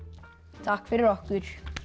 takk fyrir okkur